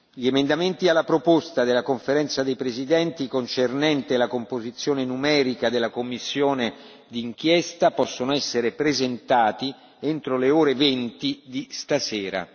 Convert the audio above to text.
Gli emendamenti alla proposta della Conferenza dei presidenti concernente la composizione numerica della commissione di inchiesta possono essere presentati entro le ore venti di stasera.